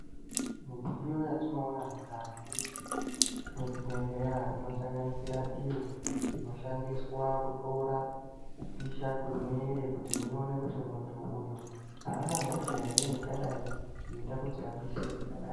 Midziyo yatinoona mukati mwezvibhehleya inosanganisira iyo inoshandiswa kutora kupisha kwemumwiiri kuona kuti muntu haana hosha here ingadai yeiita kuti apishe zvakadai.